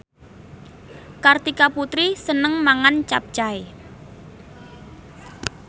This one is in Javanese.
Kartika Putri seneng mangan capcay